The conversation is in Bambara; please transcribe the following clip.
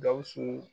Gawusu